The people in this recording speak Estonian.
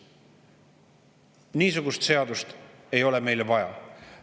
Niisugust seadust ei ole meile vaja.